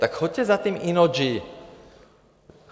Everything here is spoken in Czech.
Tak choďte za tím Innogy.